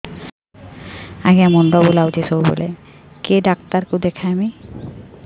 ଆଜ୍ଞା ମୁଣ୍ଡ ବୁଲାଉଛି ସବୁବେଳେ କେ ଡାକ୍ତର କୁ ଦେଖାମି